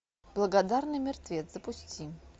благодарный мертвец запусти